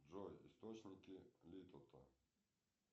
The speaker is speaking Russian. джой источники литота